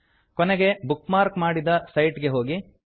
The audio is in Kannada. ಕೊನೆಗೆ ಬುಕ್ ಮಾರ್ಕ್ ಮಾಡಿದ ಸೈಟ್ ಗೆ ಹೋಗಿ